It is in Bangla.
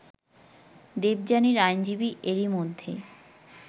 দেবযানীর আইনজীবী এরই মধ্যে